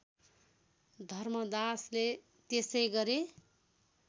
धर्मदासले त्यसै गरे